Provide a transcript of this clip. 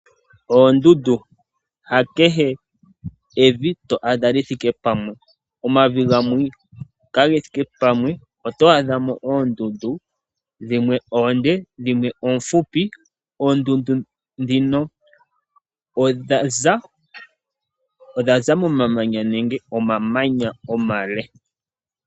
Oondundu. Hakehe evi to adha lithike pamwe. Omavi gamwe kage thike pamwe oto adha mo oondundu dhimwe oonde , dhimwe oomfupi . Oondundu ndhino odhaza momamanya nenge omamanya omale.